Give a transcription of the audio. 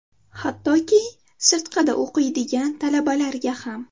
Hattoki sirtqida o‘qiydigan talabalarga ham.